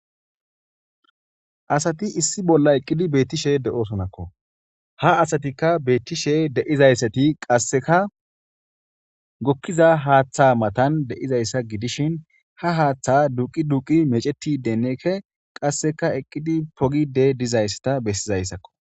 Asati issi bolla eqqidi beettishe de7osonakko ha asatikka beettishe de7izayssati qasseka gokkiza haaththa matan de7izayssa gidishin ha haaththa duqi duqi mecetidennekke qasseka eqqidi pogide dizayssata bessizayssakko.